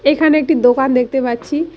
এখানে একটি দোকান দেখতে পাচ্ছি।